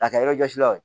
A kɛ yɔrɔ jɔsila o